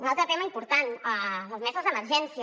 un altre tema important les meses d’emergència